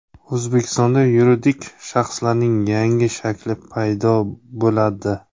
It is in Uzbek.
O‘zbekistonda yuridik shaxslarning yangi shakli paydo bo‘ladi.